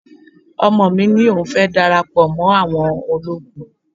Ọmọ mi ní òun fẹ́ dara pọ̀ mọ́ àwọn ológun